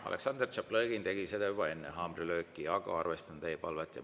Aleksandr Tšaplõgin tegi seda juba enne haamrilööki, aga arvestan teie palvet.